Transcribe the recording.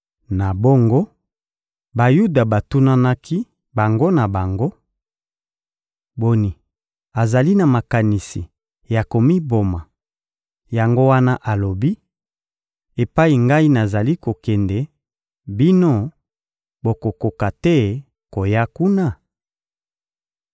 Na bongo, Bayuda batunanaki bango na bango: — Boni, azali na makanisi ya komiboma, yango wana alobi: «Epai Ngai nazali kokende, bino, bokokoka te koya kuna?»